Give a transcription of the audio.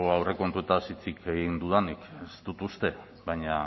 aurrekontuez hitz egin dudanik ez dut uste baina